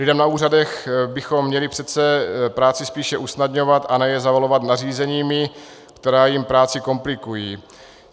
Lidem na úřadech bychom měli přece práci spíše usnadňovat a ne je zavalovat nařízeními, která jim práci komplikují.